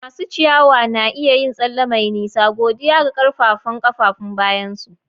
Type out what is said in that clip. Masu ciyawa na iya yin tsalle mai nisa mai nisa godiya ga ƙaƙƙarfan kafafun bayansu.